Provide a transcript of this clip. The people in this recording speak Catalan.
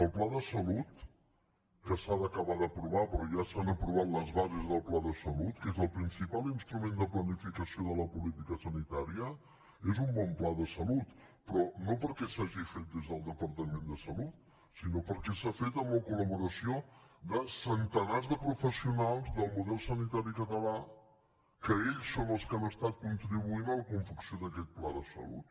el pla de salut que s’ha d’acabar d’aprovar però ja s’han aprovat les bases del pla de salut que és el principal instrument de planificació de la política sanitària és un bon pla de salut però no perquè s’hagi fet des del departament de salut sinó perquè s’ha fet amb la col·laboració de centenars de professionals del model sanitari català que ells són els que han estat contribuint a la confecció d’aquest pla de salut